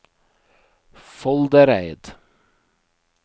Foldereid